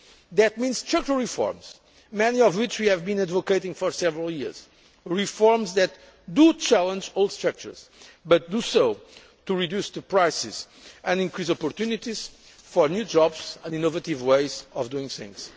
growth. That means structural reforms, many of which we have been advocating for several years reforms that challenge all structures but do so to reduce prices and increase opportunities for new jobs and innovative ways of doing